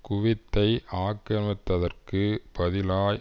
குவைத்தை ஆக்கிரமித்ததற்கு பதிலாய்